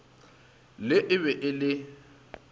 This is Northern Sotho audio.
le e be e le